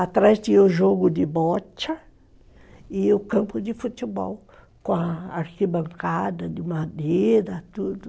Atrás tinha o jogo de bocha e o campo de futebol, com a arquibancada de madeira, tudo.